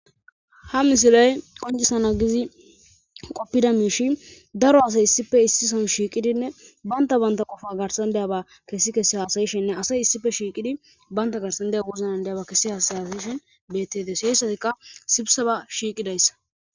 ha misilay qonjisana gizi qoppida miishi daro asay issife issison shiiqidinne banta banta qofa garsandiyaba kessi kessi haasayishinne asay issife shiiqidi baynta garsandiya wuznan diyaba kessi hasayasishin bettedes heyssatikka sibsaba shiiqidayssa